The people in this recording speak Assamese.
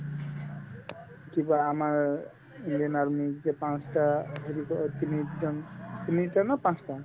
কিবা আমাৰ ইণ্ডিয়ান army ৰ যে পাঁচটা হেৰি অ তিনিজন তিনিটা নে পাঁচটা